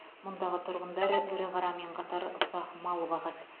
мұндағы тұрғындар ірі қарамен қатар ұсақ мал бағады